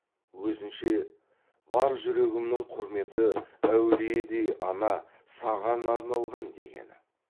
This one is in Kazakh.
өзінше бар жүрегімнің құрметі әулиедей ана саған арналған дегені